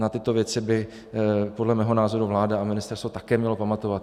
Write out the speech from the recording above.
Na tyto věci by podle mého názoru vláda a ministerstvo také měly pamatovat.